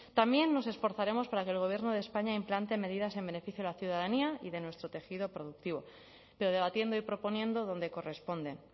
también nos esforzaremos para que el gobierno de españa implante medidas en beneficio de la ciudadanía y de nuestro tejido productivo pero debatiendo y proponiendo donde corresponden